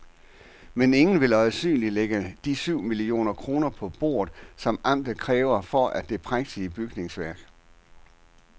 Men ingen vil øjensynligt lægge de syv millioner kroner på bordet, som amtet kræver for det prægtige bygningsværk.